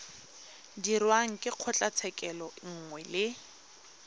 dirwang ke kgotlatshekelo nngwe le